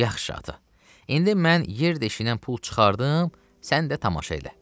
Yaxşı ata, indi mən yer deşiyindən pul çıxardım, sən də tamaşa elə.